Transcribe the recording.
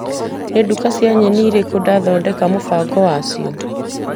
Nĩ nduka cia nyeni irĩkũ ndathondeka mũbango wa cio.